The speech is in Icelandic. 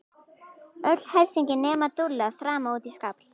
Öll hersingin nema Dúlla þrammaði út í skafl.